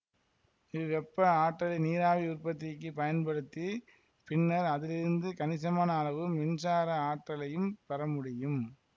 இவ்வெப்ப ஆற்றலை நீராவி உற்பத்திக்கு பயன்படுத்தி பின்னர் அதிலிருந்து கணிசமான அளவு மின்சார ஆற்றலையும் பெறமுடியும்